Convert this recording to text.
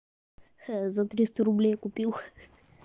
за триста рублей купил